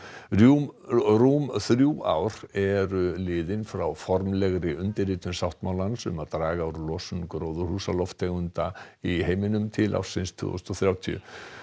rúm rúm þrjú ár eru liðin frá formlegri undirritun sáttmálans um að draga úr losun gróðurhúsalofttegunda í heiminum til ársins tvö þúsund og þrjátíu